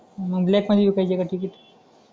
मग ब्लॅक मध्ये विकायचे का का टिकीट